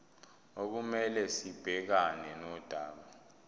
okumele sibhekane nodaba